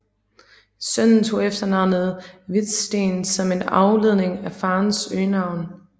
Sønnen tog efternavnet Viðstein som en afledning fra farens øgenavn